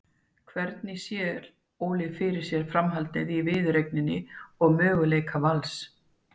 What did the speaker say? Hvernig sér Óli fyrir sér framhaldið á viðureigninni og möguleika Vals?